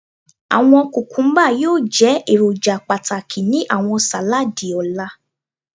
Awọn kukumba yoo jẹ eroja pataki ni awọn saladi ọla